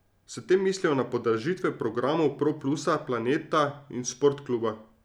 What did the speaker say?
S tem mislijo na podražitve programov Pro plusa, Planeta in Sportkluba.